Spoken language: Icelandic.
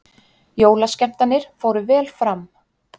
Jólaskemmtanir fóru vel fram